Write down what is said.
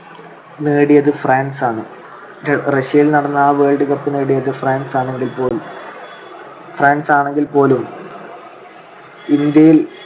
നേടിയത് ഫ്രാൻസ് ആണ്. റഷ്യയിൽ നടന്ന ആ world cup നേടിയത് ഫ്രാൻസ് ആണെങ്കിൽ പോലും ~ ഫ്രാൻസ് ആണെങ്കിൽ പോലും ഇന്ത്യയിൽ